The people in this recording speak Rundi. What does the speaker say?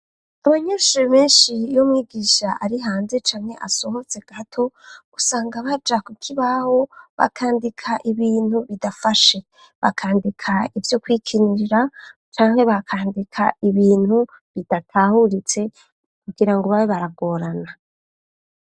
Abanyeshure benshi iyo umwigisha ari hanze canye asohotse gato usanga baja kukibaho bakandika ibintu bidafashe bakandika ivyo kwikinira canke bakandika ibintu bidatahuritse kugira ngo ba baragorana.